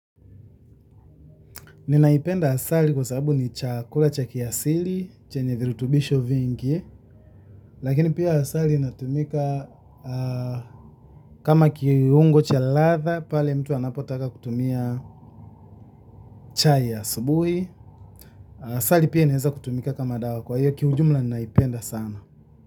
Ninaipenda asali kwa sababu ni chakula cha kiasili, chenye virutubisho vingi, lakini pia asali inatumika kama kiungo cha ladha pale mtu anapotaka kutumia chai ya asubuhi. Asali pia inaweza kutumika kama dawa, kwa hiyo kijumla ninaipenda sana.